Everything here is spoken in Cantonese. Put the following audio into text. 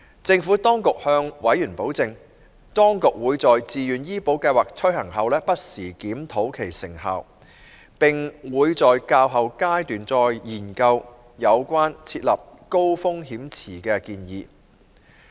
政府當局向委員保證，當局會在自願醫保計劃推行後不時檢討其成效，並會在較後階段再研究有關設立高風險池的建議。